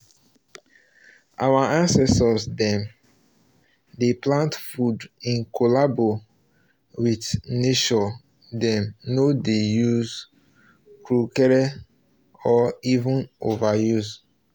our ancestors dem dey plant food in collabo witrh nature dem no dey use kukrukere or even overuse